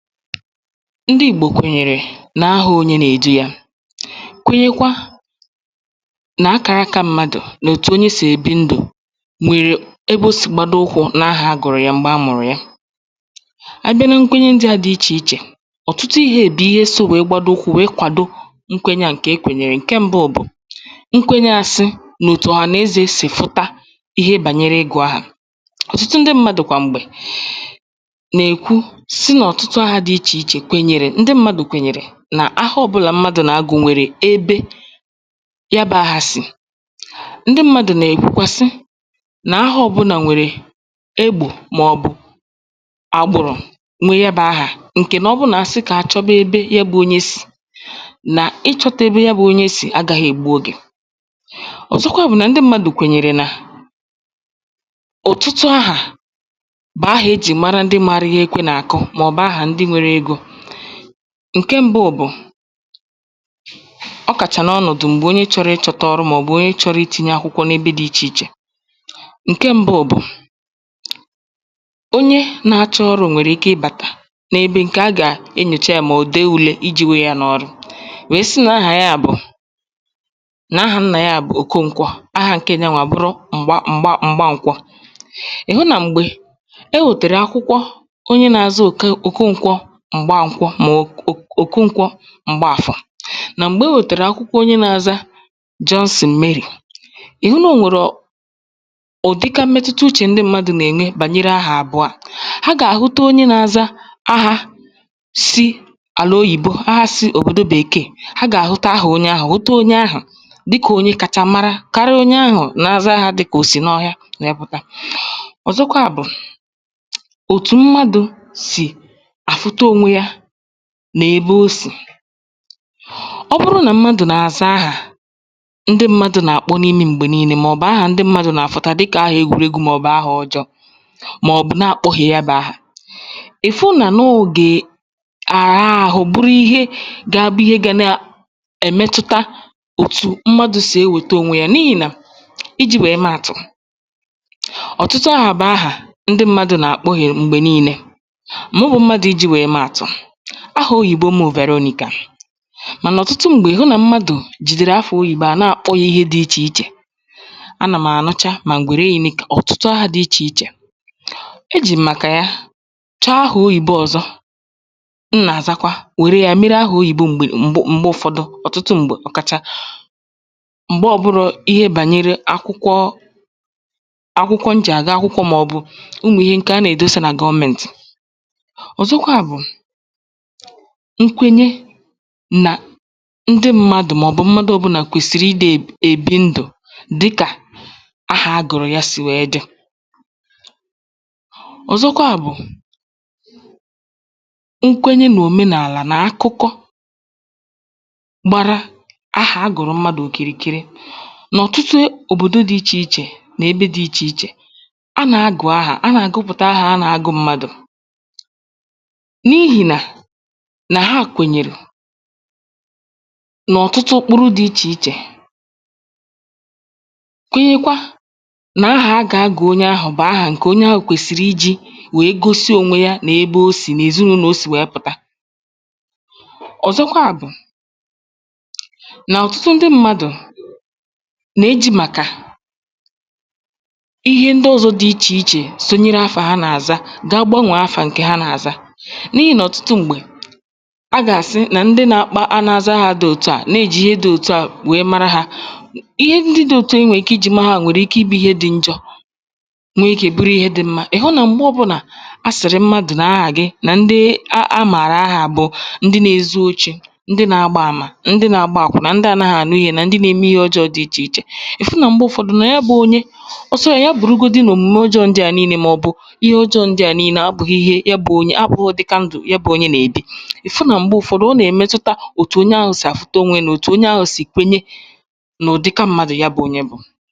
ndị Ìgbò kwènyèrè na ahà onyē nà èdu ya, kwenyekwa nà akàraka mmadù, nà òtù onye sì èbi ndụ̀ nwèrè ebe o sì gbado ụkwụ̄ nà ahà a gụ̀rụ̀ ya m̀gbè a mụ̀rụ̀ ya. a bịa na nkwenye ndịà dị ichè ichè, ọ̀tụtụ ihē bụ̀ ihe sō wèe gbado ụkwụ̄ we kwàdo nkwenye à ǹkè a gùnyèrè. ǹke mbụ bụ, nkwenye asị, mà òtù ọ̀hànezē sì fụta ihe bànyẹrẹ ịgụ̀ ahà. ọ̀tụtụ ndị mmàdù kwà m̀gbè, nà èkwu, sị nà ọ̀tụtụ ahā dị ichè ichè kwènyèrè, ndị mmadù kwènyèrè nà ahā ọbụlà mmadù nà agụ̀ nwèrè ebe yà bụ ahā sì. ndị mmàdù nà èkwukwa sị, nà ahā ọbụnà nwèrè egbò, mà ọ̀ bụ̀ àgbụ̀rụ̀ n’ịhẹ ịbà ahà, ǹkè nà ọ bụ nà asị kà achọba ebe ihe bụ ya bụ onye sì, nà ịchọ̄ta ebe ya bụ onye sì agāghị̀ ègbu ogè. ọ̀zọkwà bụ̀ nà ndị mmadù kwènyèrè nà ọ̀tụtụ ahà bụ̀ ahā e jì mara ihe egwū nà àkụ, mà ọ̀ bụ̀ ahà ndị nwẹrẹ egō. ǹkẹ mbụ bụ̀, ọkàchà n’ọnọ̀dụ̀ onye chọrọ ịchọ̄ta ọrụ̄, mà ọ̀ bụ̀ onye chọrọ itīnye akwụkwọ̄ n’ẹbẹ dị ichè ichè. ǹkẹ mbụ bụ̀, onye na achọ ọrụ̄ nwẹ̀rè ike ị bàtà, n’ebe ǹkẹ̀ a gà àbịa enyòcha yā, mà ọ̀ bụ̀ dew yā I jī we ya n’ọrụ, wèe sị nà ahà yà bụ̀, nà ahā nnà yà bụ̀ Okonkwọ, ahā ǹke nyà wa bụrụ M̀gba M̀gba m̀gbankwọ. ị̀hụ nà m̀gbè e wètèrè akwụkwọ onye na aza Òkè Òkonkwọ M̀gbankwọ, mà ọ̀ Òkonkwọ M̀gbàfọ, nà m̀gbè e wètèrè akwụkwọ onye na aza Johnson Mary, ị̀ hụ nà onwero ụ̀dịka mmetụta uchè ndị mmadù nà ènwe bànyere ahà àbụà. ha gà àhụta onye na aza ahā si àlà oyìbo, ahā si òbòdo Bèkèè, ha gà àhụta ahà onye ahụ̀, hụta onye ahụ, dịkà onye kacha mara, karịa onye ahụ̄ na aza dịkà ahā ò sì n’ọhịa wẹ̀ẹ pụ̀ta. ọ̀zọkwà bụ, òtù mmadù sì àfụta onwe yā nà ebe o sì. ọ bụrụ nà mmadù nà àza ahà, ndị mmadū nà àkpọ n’imi m̀gbè nille, mà ọ̀ bụ̀ ahà ndị mmàdū nà àfụta dịkà ahà egwùregwu, mà ò bụ̀ ahà ọjọọ̄, mà ọ̀ bụ na àkpọhìè ya bụ̄ ahà. ị̀fụ nà nà ọ ogè àrịa ahụ, buru ihe ga abụ ihe ga nà ẹ̀ mẹtụta òtù mmadū sì ewète onwe ya, n’ihì nà, ijī wẹ̀ẹ mẹ àtụ̀, ọ̀tụtụ ahà bụ̀ ahà ndị mmadū nà àkpohiè m̀gbè nine. mụwā mmadū ijì wẹ̀ẹ mẹ àtụ̀, ahà oyibò m Vẹ̀rọnịkà, mànà ọ̀tụtụ m̀gbè, ị̀ hụ nà mmadù jìdèrè afā oyìbo à nà àkpọ ya ihe dị̄ ichè ichè. a nà m̀ ànụcha, mà m̀gbè nine, ọ̀tụtụ ahā dị ichè ichè. e jì m̀ màkà ya, chọ ahà oyìbo ọzọ m̀ nà àzakwa, wère ya mere ahà oyìbo m̀gbè m̀gbe ụfọdụ, ọ̀tụtụ m̀gbè, ọ̀kàchà m̀gbe ọ bụrọ̄ ihe bànyere akwụkwọ, akwụkwọ m jì àga akwụkwọ, mà ọ̀ bụ̀ ụmụ̀ ihe, ǹkè a nà èdosa nà gọmentì. ọ̀zọkwà bụ̀, nkwenye nà ndị mmadù, mà ọ̀ bụ̀ mmadū ọbụnà kwèsị̀rị ị dā èbi ndụ̀, dịkà ahà a gụ̀rụ̀ ya sì wèe dị. ọ̀zọkwaà bụ, nkwenye n’òmenàlà, nà akụkọ gbara ahà a gụ̀rụ̀ mmadù òkìrìkiri, nà ọ̀tụtụ òbòdo dị ichè ichè, nà ebe dị ichè ichè.. a nà agụ̀ ahà a nà àgụpụ̀ta ahà a nà agụ̄ mmadù, n’ihì nà, nà hà kwènyèrè n’ọ̀tụtụ mkpụrụ dị ichè ichè, kwenyekwa nà ahā agā agụ̀ onye ahụ̀ bụ̀ ǹkè onye ahụ̀ kwèsị̀rị̀ I jī we gosi onwe ya, kwenyekwa, nà ahā a gà a gụ̀ onye ahụ̀ bụ̀ ahà ǹkè onye ahụ̀ kwèsị̀rị ijī we gosi onwe ya, nà ebe o sì, nà èzịnụlọ̄ o sì wẹ̀ẹ pụ̀ta. ọ̀zọkwà bụ̀, nà ọ̀tụtụ ndị mmadù, nà e jī màkà ihe ndị ọzọ dị ichè ichè, sonyere afà ha nà àza, ga ga gbanwèe afà nkè ha nà àza, n’ihì nà ọ̀tụtụ m̀gbè, a gà àsị nà ndị na akpọ, na azā ahā dị òtu à, na e jì ihe dị òtu à wèe mara ha. ihe ndị dị òtu à e nwè ike Ijì mara ha nwèrè ike ị bụ̄ ihe dị njọ, nwe ikē bụrụ ihe dị̄ mmā. ị̀ hụ nà a sị̀rị mmadù nà ahà gị a màrà ahà ha bụ̀ ndị na ezu ochī, na agbā amà, ndị na agba àkwụnà, nà ndị anāghị ànụ ihe, mà ndị na eme ihe ọjọọ̄ dị ichè ichè. ị̀ fụ nà m̀gbe ụfọdụ, nà ya bụ onye, ọ sọ ya, ya bùrugodi nà òmùme ndị ọjọọ̄ à nine bụ̀ ihe ndị ọjọọ̄ à nine, abụghị ihe abụghị ụ̀dịka ndụ̄ ya bụ onye nà èbi, ị̀ fu, nà m̀gbe ụfọdụ, o nà èmetụta òtù onye ahụ̄ sì àfụta onwe ya, nà òtù onye ahụ̀ sì kwenye nà ụ̀dịka mmadù ya bụ̄ onye bụ.